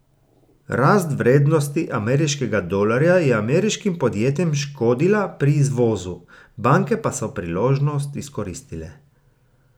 Rast vrednosti ameriškega dolarja je ameriškim podjetjem škodila pri izvozu, banke pa so priložnost izkoristile.